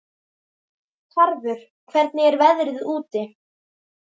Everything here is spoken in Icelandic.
Tarfur, hvernig er veðrið úti?